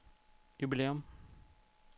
jubilæum